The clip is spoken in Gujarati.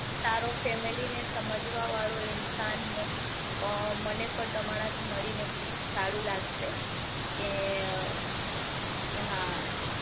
સારો ફેમિલી ને સમજવા વાળો ઇન્સાન અ મને પણ તમારા થી મળીને સારું લાગશે કે હા